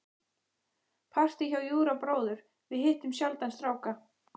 Partí hjá Júra bróður- við hittum sjaldan stráka.